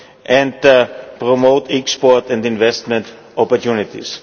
and promote export and investment opportunities.